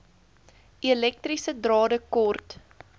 elektriese drade kort